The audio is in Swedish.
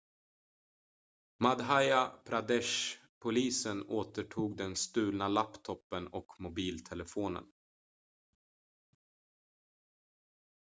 madhya pradesh-polisen återtog den stulna laptopen och mobiltelefonen